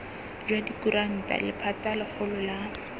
jwa dikuranta lephata legolo la